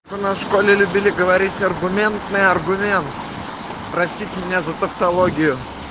у нас в школе любили говорить аргументный аргумент простите меня за тавтологию